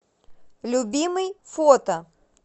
любимый фото